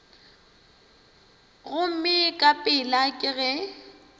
gomme ka pela ke ge